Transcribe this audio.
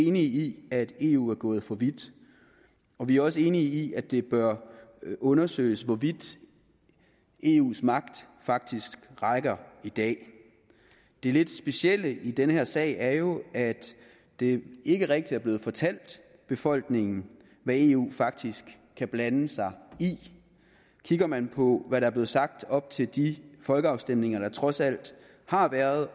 enige i at eu er gået for vidt og vi er også enige i at det bør undersøges hvor vidt eus magt faktisk rækker i dag det lidt specielle i den her sag er jo at det ikke rigtig er blevet fortalt befolkningen hvad eu faktisk kan blande sig i kigger man på hvad der blev sagt op til de folkeafstemninger der trods alt har været